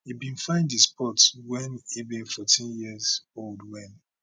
e bin find di sport wen e be 14 years old wen